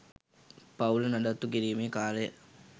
පවුල නඩත්තු කිරීමේ කාර්යය